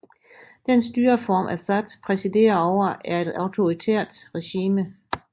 Den styreform Assad præsiderer over er et autoritært regime